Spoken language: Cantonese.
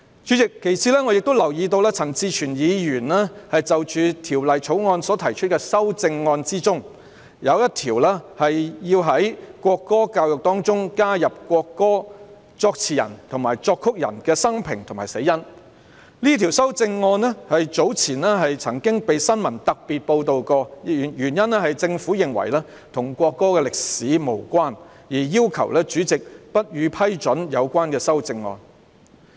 此外，主席，我留意到陳志全議員就《條例草案》所提出的修正案，其中一項是要在國歌教育中加入國歌作詞人和作曲人的生平及死因，這項修正案早前曾在新聞中獲特別報道，原因是政府認為這與國歌的歷史無關，要求主席不批准有關修正案。